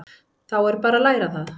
Þá er bara að læra það!